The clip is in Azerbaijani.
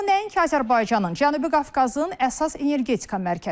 O nəinki Azərbaycanın, Cənubi Qafqazın əsas energetika mərkəzidir.